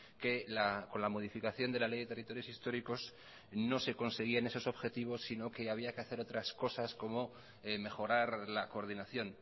que con la modificación de la ley de territorios históricos no se conseguían esos objetivos si no que había que hacer otras cosas como mejorar la coordinación